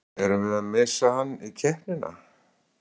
Erum við að missa hann í keppnina?